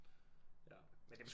Ja